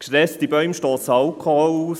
Gestresste Bäume stossen Alkohol aus.